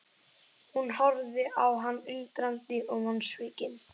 Hún horfði á hann undrandi og vonsvikin.